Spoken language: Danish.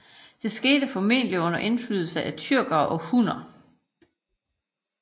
Det skete formodentligt under indflydelse af tyrkere og hunner